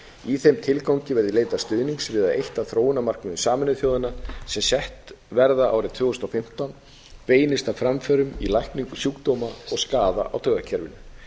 í þeim tilgangi verði leitað stuðnings við það að eitt af þróunarmarkmiðum sameinuðu þjóðanna sem sett verða árið tvö þúsund og fimmtán beinist að framförum í lækningu sjúkdóma og skaða á taugakerfinu